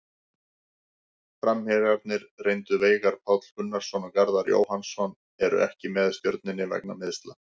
Framherjarnir reyndu Veigar Páll Gunnarsson og Garðar Jóhannsson eru ekki með Stjörnunni vegna meiðsla.